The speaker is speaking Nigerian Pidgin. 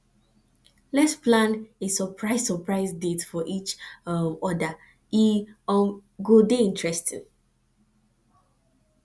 lets plan a surprise surprise date for each um other e um go dey interesting